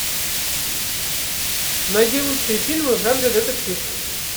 найди лучшие фильмы в жанре детектив